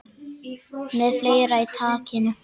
Með fleira í takinu